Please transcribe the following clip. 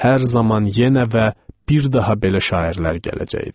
Hər zaman yenə və bir daha belə şairlər gələcəkdi.